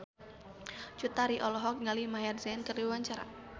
Cut Tari olohok ningali Maher Zein keur diwawancara